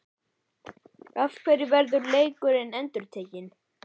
Af hverju verður leikurinn endurtekinn?